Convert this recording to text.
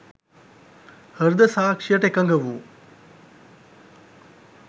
හෘද සාක්ෂියට එකඟ වූ